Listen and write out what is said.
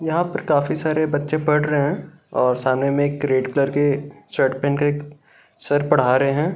यहां पर काफी सारे बच्चे पढ़ रहे हैं और सामने में एक रेड कलर की शर्ट पहनकर सर पढ़ा रहे।